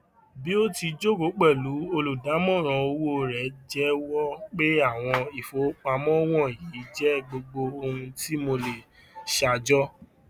bi o ti joko pẹlu oludamoran owo rẹ jẹwọ pe awọn ifowopamọ wọnyi jẹ gbogbo ohun ti mo le ṣajọ